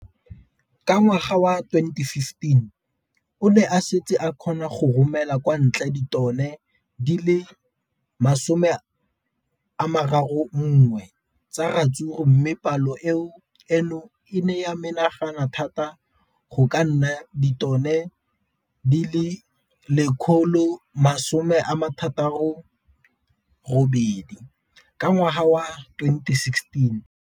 Ka ngwaga wa 2015, o ne a setse a kgona go romela kwa ntle ditone di le 31 tsa ratsuru mme palo eno e ne ya menagana thata go ka nna ditone di le 168 ka ngwaga wa 2016.